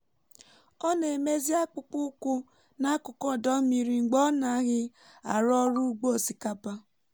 ọ na-emezi akpụkpọ ụkwụ na akụkụ ọdọ mmiri mgbe ọ naghị arụ ọrụ ugbo osikapa